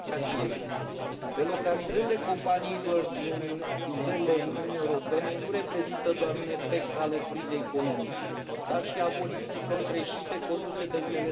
Delocalizările companiilor din țările Uniunii Europene nu reprezintă doar un efect al crizei economice, dar și al politicilor greșite conduse de unele state membre.